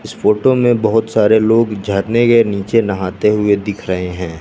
इस फोटो में बहोत सारे लोग झरने के नीचे नहाते हुए दिख रहे हैं।